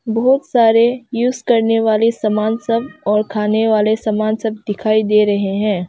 बहुत सारे यूज करने वाले सामान सब और खाने वाले सामान सब दिखाई दे रहे हैं।